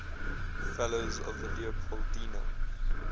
fellows of the leopoldina